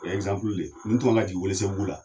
O ye de ye nin tun kan ka jigin Welesebugu la